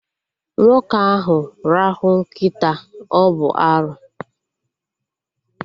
Nwoke ahụ rahụ nkịta, ọ bụ arụ